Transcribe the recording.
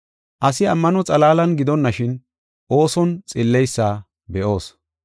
Asi ammano xalaalan gidonashin, ooson xilleysa be7aasa.